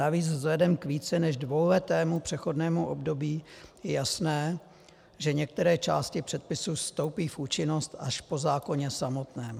Navíc vzhledem k více než dvouletému přechodnému období je jasné, že některé části předpisů vstoupí v účinnost až po zákoně samotném.